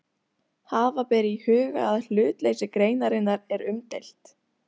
Hafa ber í huga að hlutleysi greinarinnar er umdeilt.